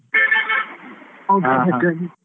ಓ ಹೌದಾ ಹಾಗಾಗಿ .